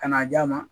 Ka n'a d'a ma